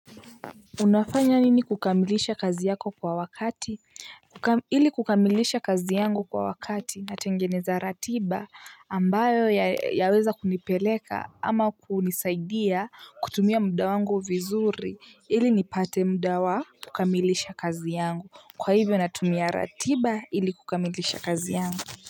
Unafanya nini kukamilisha kazi yako kwa wakati ili kukamilisha kazi yangu kwa wakati natengeneza ratiba ambayo yaweza kunipeleka ama kunisaidia kutumia muda wangu vizuri ili nipate muda wa kukamilisha kazi yangu kwa hivyo natumia ratiba ili kukamilisha kazi yangu.